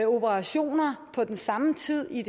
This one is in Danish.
operationer på den samme tid i